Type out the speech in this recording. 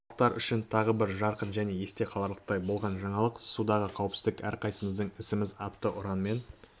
қалалықтар үшін тағы бір жарқын және есте қаларлықтай болған жаңалық судағы қауіпсіздік әрқайсымыздың ісіміз атты ұранмен